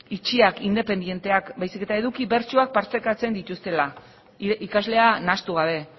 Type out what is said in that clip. itxiak independienteak baizik eta eduki bertsuak partekatzen dituztela ikaslea nahastu gabe